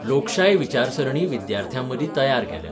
लोकशाय विचारसरणी विद्यार्थ्यांमदीं तयार केल्या.